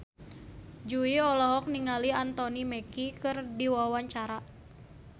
Jui olohok ningali Anthony Mackie keur diwawancara